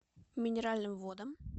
минеральным водам